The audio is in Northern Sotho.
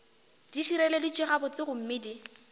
di šireleditšwe gabotse gomme di